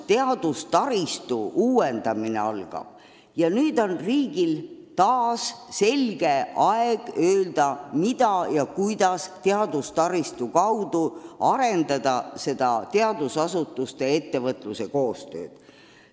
Teadustaristu uuendamine algab ja riigil on taas võimalus selgelt öelda, kuidas teadustaristu kaudu arendada teadusasutuste ja ettevõtluse koostööd.